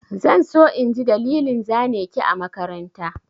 Zan so in ji dalilin zane ki a makaranta.